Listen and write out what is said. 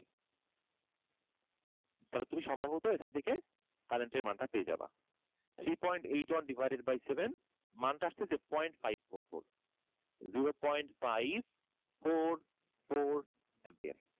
তাহলে তুমি সম্ভবত এখন থেকে current এর মানটা পেয়ে যাবে three point eight one divided by seven মানটা আসতেছে point five four four, zero point five four four ampere